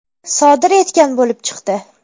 sodir etgan bo‘lib chiqdi.